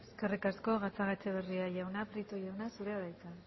eskerrik asko gatzagaetxebarria jauna prieto jauna zurea da hitza